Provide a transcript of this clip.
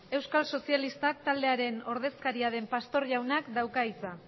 euskal sozialistak taldearen ordezkaria den pastor jaunak dauka hitza